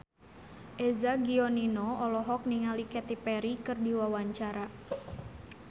Eza Gionino olohok ningali Katy Perry keur diwawancara